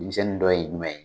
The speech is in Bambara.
Denmisɛnnin dɔn ye jumɛn ye ?